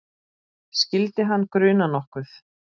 Skyldi hana gruna nokkuð?